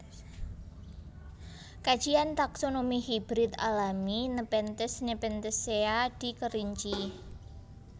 Kajian taksonomi hibrid alami Nepenthes Nepenthaceae di Kerinci